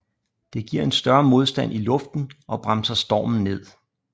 Det giver en større modstand i luften og bremser stormen ned